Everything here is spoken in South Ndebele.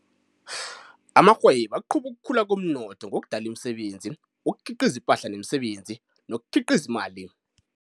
Amarhwebo aqhuba ukukhula komnotho ngokudala imisebenzi, ukukhiqiza ipahla nemisebenzi, nokukhiqiza imali.